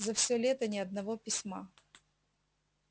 за все лето ни одного письма